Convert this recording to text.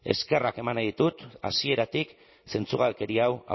eskerrak eman nahi ditut hasieratik zentzugabekeria hau